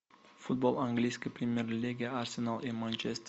футбол английской премьер лиги арсенал и манчестер